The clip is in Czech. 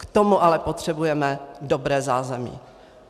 K tomu ale potřebujeme dobré zázemí.